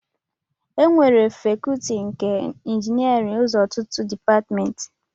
Ekewara Fakọọti nke Injiniarin ụzọ ọtụtụ Depatmentị